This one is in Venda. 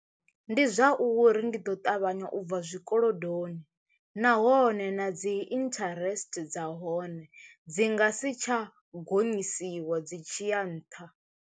Ndi zwa uri ndi ḓo ṱavhanya u bva zwikolodoni nahone na dzi interest dza hone dzi nga si tsha gonyisiwa dzi tshiya nṱha.